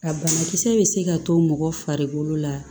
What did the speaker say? A banakisɛ bɛ se ka to mɔgɔ farikolo la